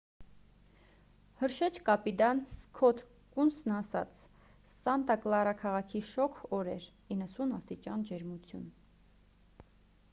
հրշեջ կապիտան սքոթ կունսն ասաց սանտա կլարա քաղաքի շոգ օր էր 90 աստիճան ջերմություն